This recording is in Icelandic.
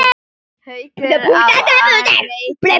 Haukur: Á réttan stað?